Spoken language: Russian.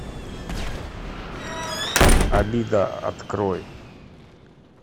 обида открой